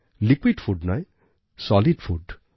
liquid food নয় solid food